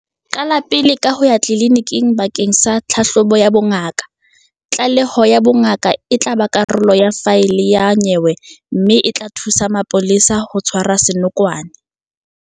Qala pele ka ho ya tleliniking bakeng sa tlhahlobo ya bongaka. Tlaleho ya bongaka e tla ba karolo ya faele ya nyewe mme e tla thusa mapolesa ho tshwara senokwane.